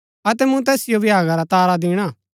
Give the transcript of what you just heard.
अतै मूँ तैसिओ भ्यागा रा तारा दिणा